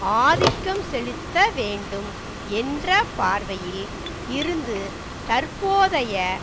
ஆதிக்கம் செலுத்தவேண்டும் என்ற பார்வையில் இருந்து தற்போதைய